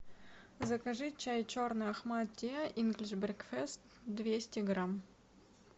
закажи чай черный ахмад ти инглиш брекфест двести грамм